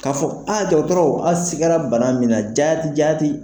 K'a fɔ aa dɔgɔtɔrɔ a sigira bana min na jati jati